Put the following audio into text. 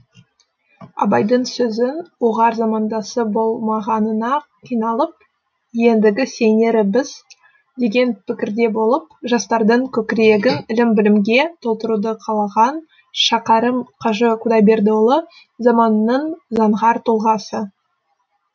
абайдың сөзі ұғар замандасы болмағанына қиналып ендігі сенері біз деген пікірде болып жастардың көкірегін ілім білімге толтыруды қалаған шәкәрім қажы құдайбердіұлы заманының заңғар тұлғасы